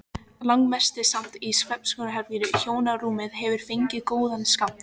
Langmest samt í svefnherberginu, hjónarúmið hefur fengið góðan skammt.